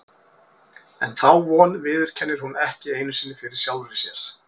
En þá von viðurkennir hún ekki einu sinni fyrir sjálfri sér.